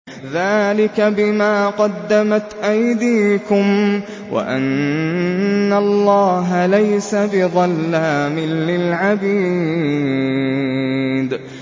ذَٰلِكَ بِمَا قَدَّمَتْ أَيْدِيكُمْ وَأَنَّ اللَّهَ لَيْسَ بِظَلَّامٍ لِّلْعَبِيدِ